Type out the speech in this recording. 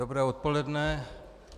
Dobré odpoledne.